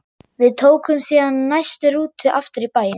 Við tókum síðan næstu rútu aftur í bæinn.